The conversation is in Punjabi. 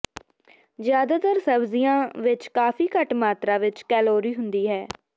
ਜ਼ਿਆਦਾਤਰ ਸਬਜ਼ੀਆਂ ਵਿੱਚ ਕਾਫੀ ਘੱਟ ਮਾਤਰਾ ਵਿੱਚ ਕੈਲੋਰੀ ਹੁੰਦੀ ਹੈ